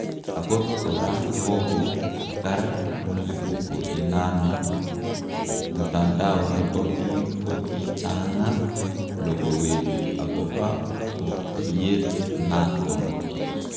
Akot kora kokogar mlipuko inano, mtandao nepo pik ko kichangaaa logowek agopa poykiet naton